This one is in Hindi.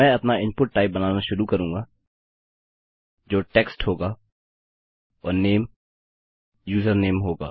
मैं अपना इनपुट टाइप बनाना शुरू करूँगा जो टेक्स्ट होगा और नेम यूजरनेम होगा